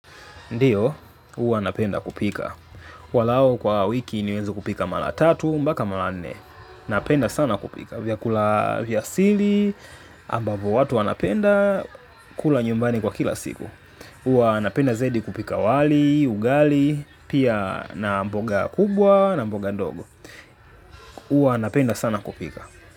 Ndio, huwa napenda kupika. Angalau kwa wiki niweze kupika mara tatu mpaka mara nne. Napenda sana kupika. Vyakula vya asili, ambavo watu wanapenda, kula nyumbani kwa kila siku. Huwa napenda zaidi kupika wali, ugali, pia na mboga kubwa, na mboga ndogo. Uwa napenda sana kupika.